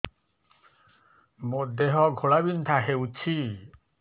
ମୋ ଦେହ ଘୋଳାବିନ୍ଧା ହେଉଛି